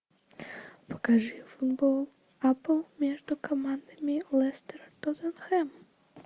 покажи футбол апл между командами лестер тоттенхэм